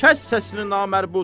Kəs səsini, namərd!